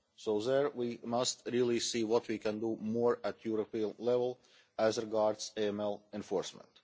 So there we must really see what we can do more at European level as regards AML enforcement.